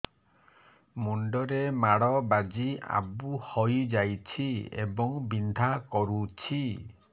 ମୁଣ୍ଡ ରେ ମାଡ ବାଜି ଆବୁ ହଇଯାଇଛି ଏବଂ ବିନ୍ଧା କରୁଛି